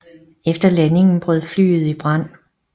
Efter landingen brød flyet i brand